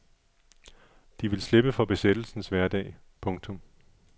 De vil slippe for besættelsens hverdag. punktum